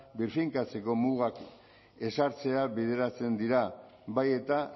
birfinkatzeko mugak ezartzea bideratzen dira bai eta